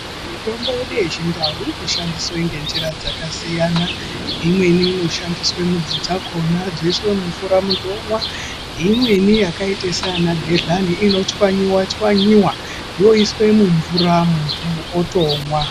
Mitombo yedu yechindau inoshandiswa ngenjira dzakasiyana siyana. Imweni inoshandiswa midzi dzakhona dzoiswe mumvura munhu omwa. Imweni yakaite segodhlani inotswanywa tswanya yoiswe mumvura munhu otomwa.